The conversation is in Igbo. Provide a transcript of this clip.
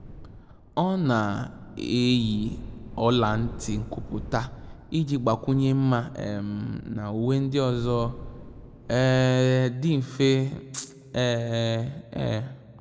Ọ́ nà-eyì ọla ntị nkwùpụ́tà iji gbàkwụnye mma um na uwe ndị ọzọ um dị mfe. um